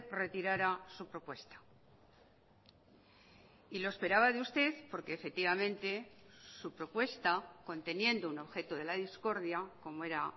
retirara su propuesta y lo esperaba de usted porque efectivamente su propuesta conteniendo un objeto de la discordia como era